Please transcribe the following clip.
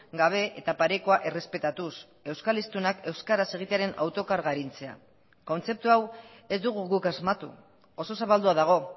gabe eta parekoa errespetatuz euskal hiztunak euskaraz egitearen autokarga arintzea kontzeptu hau ez dugu guk asmatu oso zabaldua dago